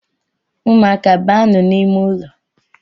Umuaka banu n’ime ụlọ